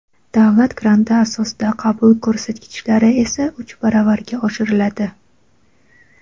davlat granti asosida qabul ko‘rsatkichlari esa uch baravarga oshiriladi.